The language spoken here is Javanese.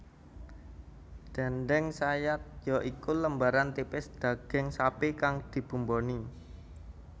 Déndéng sayat ya iku lembaran tipis daging sapi kang dibumboni